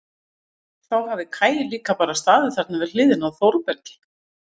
Þá hafi Kaj líka bara staðið þarna við hliðina á Þórbergi.